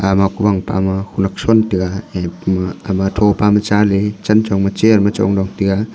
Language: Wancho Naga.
ama kuwang pa ma kunyak shon tai a e pama ama thopa ma chale chanchong ma chair ma chongla taga.